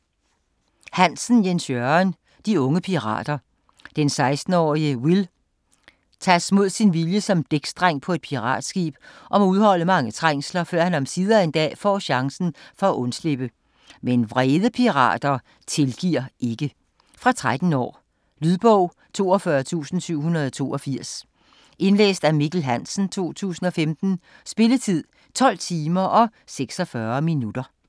Hansen, Jens Jørgen: De unge pirater Den 16-årige Will tages mod sin vilje som dæksdreng på et piratskib, og må udholde mange trængsler før han omsider en dag får chancen for at undslippe. Men vrede pirater tilgiver ikke. Fra 13 år. Lydbog 42782 Indlæst af Mikkel Hansen, 2015. Spilletid: 12 timer, 26 minutter.